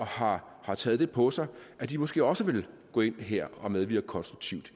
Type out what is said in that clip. har har taget det på sig måske også vil gå ind her og medvirke konstruktivt